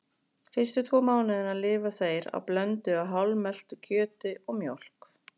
Fyrstu tvo mánuðina lifa þeir á blöndu af hálfmeltu kjöti og mjólk.